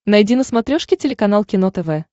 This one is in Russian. найди на смотрешке телеканал кино тв